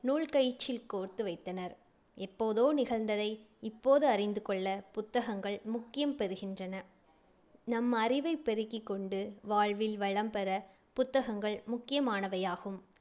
நூல்கயிற்றில் கோர்த்து வைத்தனர் எப்போதோ நிகழ்ந்ததை இப்போது அறிந்து கொள்ள புத்தகங்கள் முக்கியம் பெறுகின்றன. நம் அறிவைப் பெருக்கிக் கொண்டு வாழ்வில் வளம் பெற புத்தகங்கள் முக்கியமானவையாகும். .